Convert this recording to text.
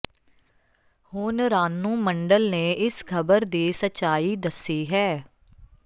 ਹੁਣ ਰਾਨੂੰ ਮੰਡਲ ਨੇ ਇਸ ਖ਼ਬਰ ਦੀ ਸੱਚਾਈ ਦੱਸੀ ਹੈ